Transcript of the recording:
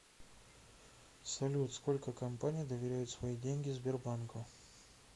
салют сколько компаний доверяют свои деньги сбербанку